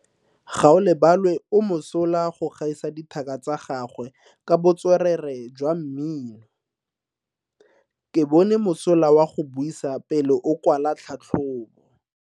Gaolebalwe o mosola go gaisa dithaka tsa gagwe ka botswerere jwa mmino. Ke bone mosola wa go buisa pele o kwala tlhatlhobo.